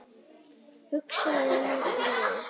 Hugsaði málið.